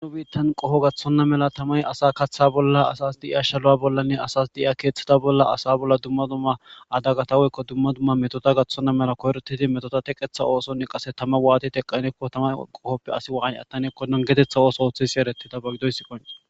anu biittan qoho gathonna mela tamay asa kaththa bolla asas di7iya shala7a bollanne asas di7iya keeththida bolla asa bolla dumma dumma adagataweykko dumma dumma metota gaththonna mela koyrotidi metota teqetha oosonni qase tama waati teqanekko tama qohoppe asi waan attaneekkodon geetetha ooso oothisi ereti ta bagidoyssi qon